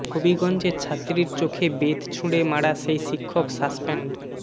হবিগঞ্জে ছাত্রীর চোখে বেত ছুড়ে মারা সেই শিক্ষক সাসপেন্ড